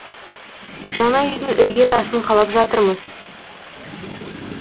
жаңа үйдің ірге тасын қалап жатырмыз